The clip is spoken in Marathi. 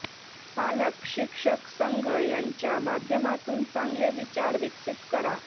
पालक शिक्षक संघ यांच्या माध्यमातून चांगले विचार विकसित करा